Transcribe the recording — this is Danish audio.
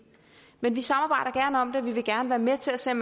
men vi samarbejder gerne om det og vi vil gerne være med til at se om